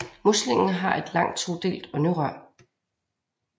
Muslingen har et langt todelt ånderør